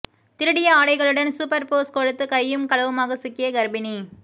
திருடிய ஆடைகளுடன் super pose கொடுத்து கையும் களவுமாக சிக்கிய கர்ப்பிணி